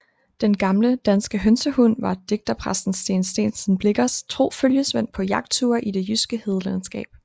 Den gamle danske hønsehund var digterpræsten Steen Steensen Blichers tro følgesvend på jagtture i det jyske hedelandskab